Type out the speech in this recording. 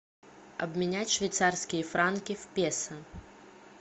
обменять швейцарские франки в песо